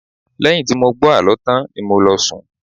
Lẹ́yìn tí mo gbọ́ àlọ́ tán ni mo lọ sùn